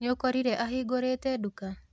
Nĩũkorire ahingũrĩte nduka?